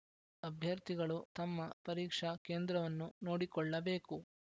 ಅಭ್ಯರ್ಥಿಗಳು ತಮ್ಮ ಪರೀಕ್ಷಾ ಕೇಂದ್ರವನ್ನು ನೋಡಿಕೊಳ್ಳಬೇಕು